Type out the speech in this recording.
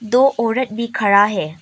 दो औरत भी खड़ा है।